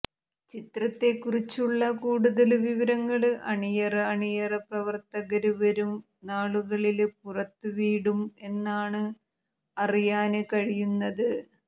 ചിത്രത്തെക്കുറിച്ചുള്ള കൂടുതല് വിവരങ്ങള് അണിയറ അണിയറ പ്രവര്ത്തകര് വരും നാളുകളില് പുറത്ത് വീടും എന്നാണ് അറിയാന് കഴിയുന്നത്